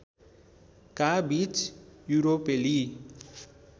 का बीच युरोपेली